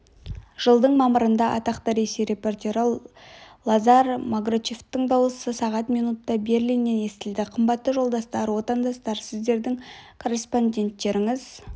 жылдың мамырында атақты ресей репортері лазарь маграчевтің дауысы сағат минутта берлиннен естілді қымбатты жолдастар отандастар сіздердің корреспонденттеріңіз